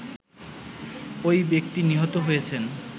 ঐ ব্যক্তি নিহত হয়েছেন